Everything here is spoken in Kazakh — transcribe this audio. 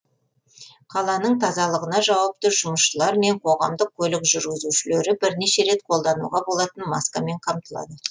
қаланың тазалығына жауапты жұмысшылар мен қоғамдық көлік жүргізушілері бірнеше рет қолдануға болатын маскамен қамтылады